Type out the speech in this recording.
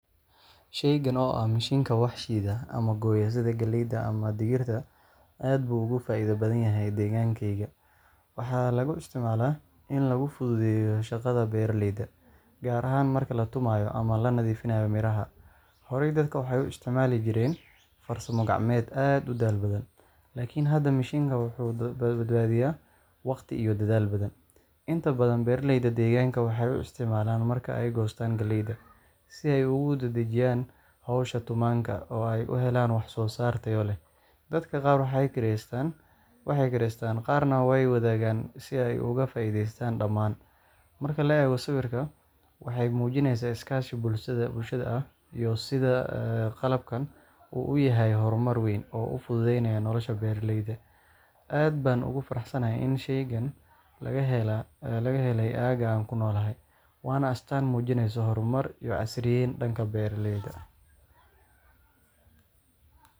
Shaygan oo ah mishiinka wax shiida ama gooya sida galleyda ama digirta, aad buu uga faa’iido badan yahay deegaankayaga. Waxaa lagu isticmaalaa in lagu fududeeyo shaqada beeraleyda, gaar ahaan marka la tumanayo ama la nadiifinayo miraha. Horey dadka waxay u isticmaali jireen farsamo gacmeed aad u daal badan, laakiin hadda mishiinkani wuxuu badbaadiyaa waqti iyo dadaal badan. Inta badan beeraleyda deegaanka waxay u isticmaalaan marka ay goostaan galleyda, si ay ugu dedejiyaan howsha tumaanka oo ay u helaan wax-soo-saar tayo leh. Dadka qaar waxay kireystaan, qaarna way wadaagaan si ay uga faa’iideystaan dhammaan. Marka la eego sawirka, waxay muujinaysaa iskaashi bulshada ah iyo sida qalabkan uu u yahay horumar weyn oo u fududeynaya nolosha beeraleyda. Aad baan ugu faraxsanahay in shaygan laga helay aagga aan ku noolahay, waana astaan muujinaysa horumar iyo casriyeyn dhanka beeraha ah.